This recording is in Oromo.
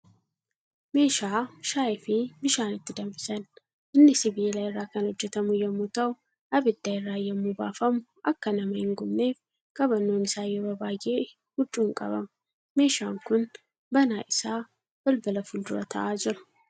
Meeshaa shaayii fi bishaan itti danfisan. Inni sibiila irraa kan hojjatamu yemmuu ta'u abidda irraa yemmuu baafamu akka nama hin gubneef qabannoon isaa yeroo baay'ee huccuun qabama. Meeshaan kun banaa isaa balbala fuuldura taa'aa jira.